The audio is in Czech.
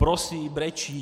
Prosí, brečí.